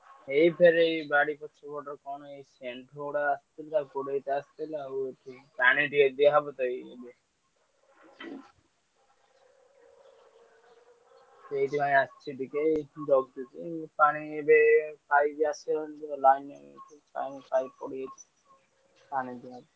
ଏଇ ଫେର ଏଇ ବାଡି ପଛପଟର କଣ ହେଇଛି। ପାଣିଟିକେ ଦିଆ ହବତ ଏଇ। ସେଇଥି ପାଇଁ ଆସିଛି ଟିକେ। ଜଗିଛି। ପାଣିଟିକେ ପାଣି ଦିଆହେଉଛି।